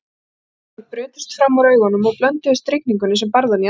Reiðitár brutust fram úr augunum og blönduðust rigningunni sem barði hann í andlitið.